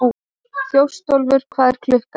Þjóstólfur, hvað er klukkan?